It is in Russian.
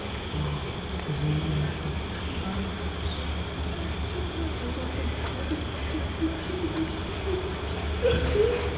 изменяешь мне понятно всё всё всё понятно я тебя понял я обиделся всё не пиши мне больше не звони